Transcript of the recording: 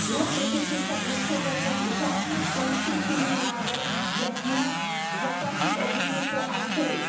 Jeho kritici však nepředložili žádný konstruktivní návrh, jak jinak zaplatit odměny pro autory.